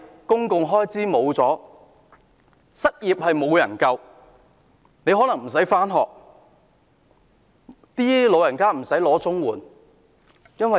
公共開支沒有了，失業人士得不到救助，學生不能上學，老人家拿不到綜援。